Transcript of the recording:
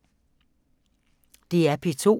DR P2